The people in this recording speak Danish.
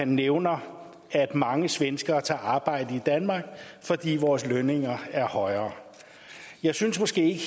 nævner han at mange svenskere tager arbejde i danmark fordi vores lønninger er højere jeg synes måske